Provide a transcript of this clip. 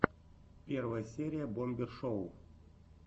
первая серия бомбер шоу